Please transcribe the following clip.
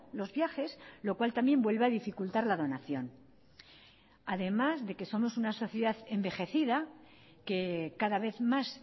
los viajes lo cual también vuelve a dificultar la donación además de que somos una sociedad envejecida que cada vez más